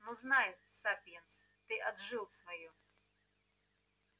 но знай сапиенс ты отжил своё